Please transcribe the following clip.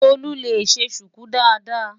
Tolú lè ṣe ṣùkú dáadáa.